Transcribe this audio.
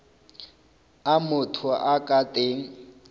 a motho a ka teng